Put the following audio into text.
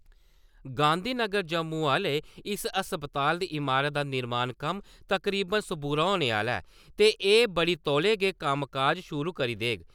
गांधी नगर जम्मू आह्ले इस अस्पताल दी इमारत दा निर्माण कम्म तकरीबन सबूरा होने आह्ला ऐ ते एह् बड़ी तौले गै कम्मकाज शुरू करी देग।